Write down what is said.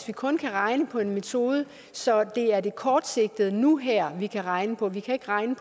vi kun kan regne på en metode så det er det kortsigtede nu og her vi kan regne på vi kan ikke regne